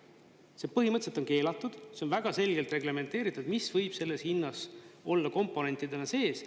See põhimõtteliselt on keelatud, see on väga selgelt reglementeeritud, mis võib selles hinnas olla komponentidena sees.